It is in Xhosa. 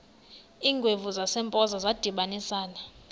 iingwevu zasempoza zadibanisana